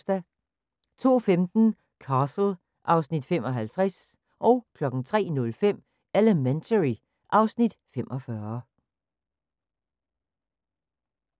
02:15: Castle (Afs. 55) 03:05: Elementary (Afs. 45)